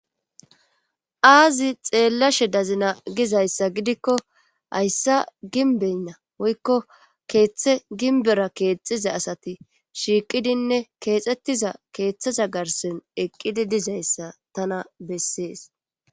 Aazi xeelashe dazina gizayssa gidikko hayssa gimbenha woykko keeththe gimbbera keexxiza asati shiiqiine keexetiza keeththza garssen eqqizi dizayssa tana beesees.